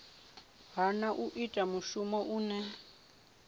hana u ita mushumo une